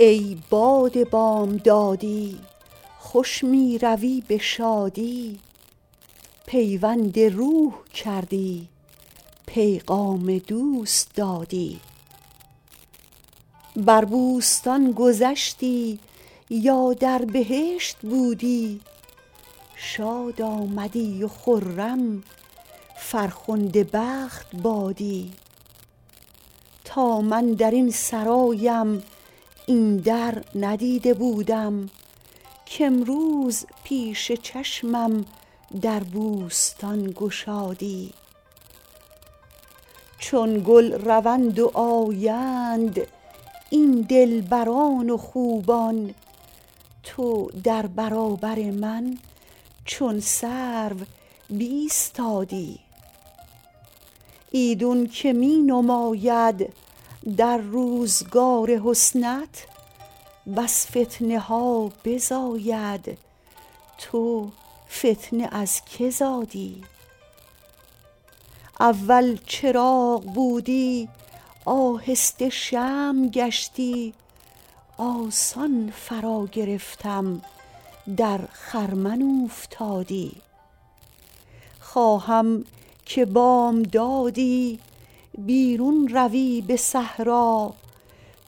ای باد بامدادی خوش می روی به شادی پیوند روح کردی پیغام دوست دادی بر بوستان گذشتی یا در بهشت بودی شاد آمدی و خرم فرخنده بخت بادی تا من در این سرایم این در ندیده بودم کامروز پیش چشمم در بوستان گشادی چون گل روند و آیند این دلبران و خوبان تو در برابر من چون سرو بایستادی ایدون که می نماید در روزگار حسنت بس فتنه ها بزاید تو فتنه از که زادی اول چراغ بودی آهسته شمع گشتی آسان فراگرفتم در خرمن اوفتادی خواهم که بامدادی بیرون روی به صحرا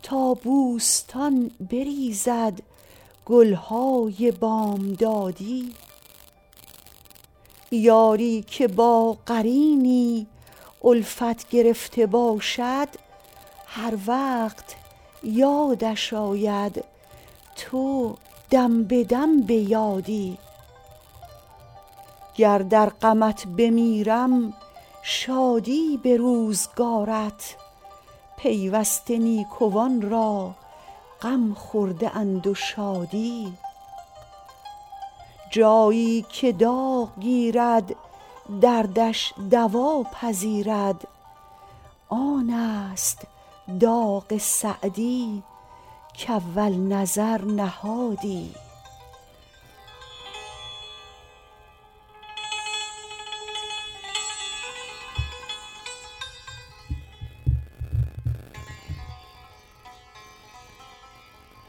تا بوستان بریزد گل های بامدادی یاری که با قرینی الفت گرفته باشد هر وقت یادش آید تو دم به دم به یادی گر در غمت بمیرم شادی به روزگارت پیوسته نیکوان را غم خورده اند و شادی جایی که داغ گیرد دردش دوا پذیرد آن است داغ سعدی کاول نظر نهادی